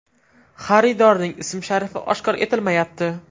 Xaridorning ism-sharifi oshkor etilmayapti.